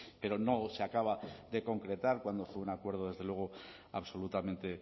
pero no se acaba de concretar cuando fue un acuerdo desde luego absolutamente